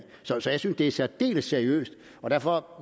så jeg synes det er særdeles seriøst og derfor